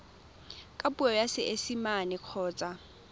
ka puo ya seesimane kgotsa